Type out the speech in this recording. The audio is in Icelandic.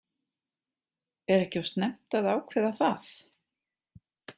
Er ekki of snemmt að ákveða það?